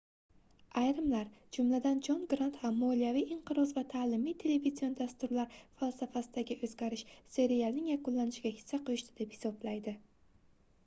ayrimlar jumladan jon grant ham moliyaviy inqiroz va taʼlimiy televizion dasturlar falsafasidagi oʻzgarish serialning yakunlanishiga hissa qoʻshdi deb hisoblaydi